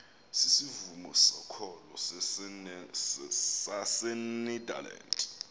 sisivumo sokholo sasenederland